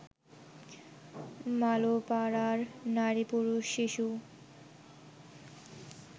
মালোপাড়ার নারী-পুরুষ-শিশু